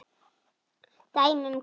Dæmi um kóða